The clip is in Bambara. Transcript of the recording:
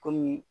Kɔmi